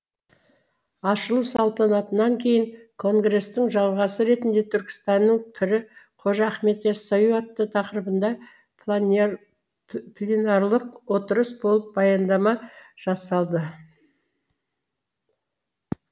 ашылу салтанатынан кейін конгрестің жалғасы ретінде түркістанның пірі қожа ахмет ясауи атты тақырыбында пленарлық отырыс болып баяндама жасалды